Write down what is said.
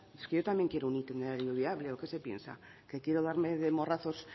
es que yo también quiero un itinerario viable o qué se piensa que quiero darme de morrazos